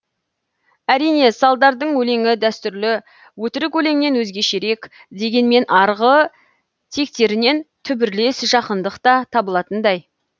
әрине салдардың өлеңі дәстүрлі өтірік өлеңнен өзгешерек дегенмен арғы тектерінен түбірлес жақындық та табылатындай